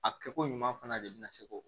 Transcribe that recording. A kɛko ɲuman fana de bɛna se ko o